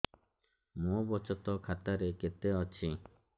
ମୋ ବଚତ ଖାତା ରେ କେତେ ଅଛି